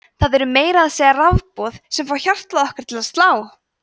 það eru meira að segja rafboð sem fá hjartað okkar til að slá!